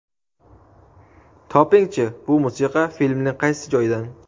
Topingchi bu musiqa filmning qaysi joyidan?.